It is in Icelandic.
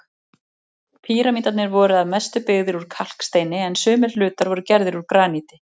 Píramídarnir voru að mestu byggðir úr kalksteini, en sumir hlutar voru gerðir úr graníti.